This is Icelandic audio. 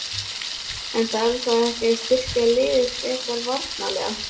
En þarf þá ekki að styrkja liðið frekar varnarlega?